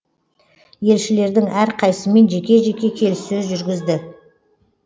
елшілердің әрқайсысымен жеке жеке келіссөз жүргізді